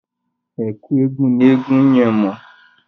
Ẹ̀kú eégun ni eégun yẹn wọ̀.